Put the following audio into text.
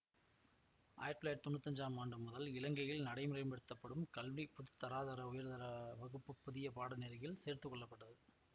ஆயிரத்தி தொள்ளாயிரத்தி தொன்னூத்தி அஞ்சாம் ஆண்டு முதல் இலங்கையில் நடைமுறைப்படுத்தப்படும் கல்வி பொது தராதர உயர்தர வகுப்பு புதிய பாடநெறியில் சேர்த்துக்கொள்ளப்பட்டது